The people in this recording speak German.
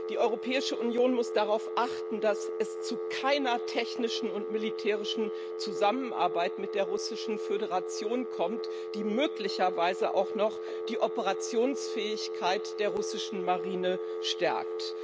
Die Europäische Union muss darauf achten, dass es zu keiner technischen und militärischen Zusammenarbeit mit der Russischen Föderation kommt, die möglicherweise auch noch die Operationsfähigkeit der russischen Marine stärkt.